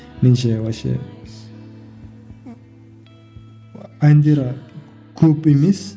меніңше вообще әндері көп емес